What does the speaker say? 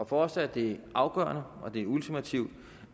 for os er det afgørende og det er ultimativt